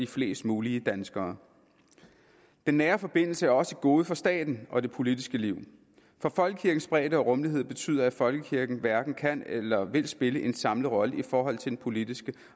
flest muligt danskere den nære forbindelse er også et gode for staten og det politiske liv for folkekirkens bredde og rummelighed betyder at folkekirken hverken kan eller vil spille en samlet rolle i forhold til den politiske